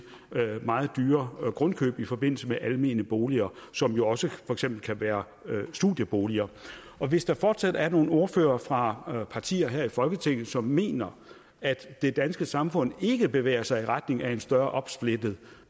meget dyre grundkøb i forbindelse med almene boliger som jo også for eksempel kan være studieboliger hvis der fortsat er nogle ordførere fra partier her i folketinget som mener at det danske samfund ikke bevæger sig i retning af en større opsplitning